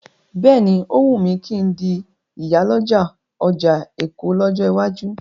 Bẹ́ẹ̀ni,ó wùn mí kí n di ìyàlọ́jà ọjà Èkó lọ́jọ́ iwájú.